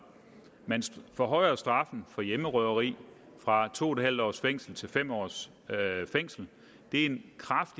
man forhøjer straffen for hjemmerøveri fra to en halv års fængsel til fem års fængsel det